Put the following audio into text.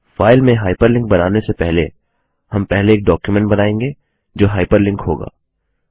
file में hyperlink बनाने से पहले हम पहले एक डॉक्युमेंट बनायेंगे जो हाइपरलिंक होगा